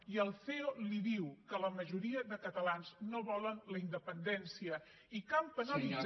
i el ceo li diu que la majoria de catalans no volen la independència i que han penalitzat